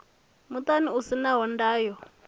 muṱani u si na ndayo